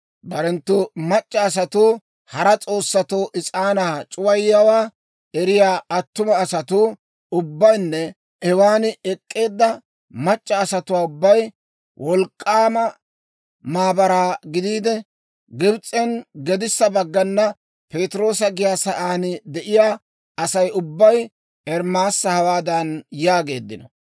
Barenttu mac'c'a asatuu hara s'oossatoo is'aanaa c'uwayiyaawaa eriyaa attuma asatuu ubbaynne hewan ek'k'eedda mac'c'a asatuu ubbay wolk'k'aama maabaraa gidiide, Gibs'en gedissa baggana Patiroosa giyaa saan de'iyaa Asay ubbay Ermaasa hawaadan yaageeddino;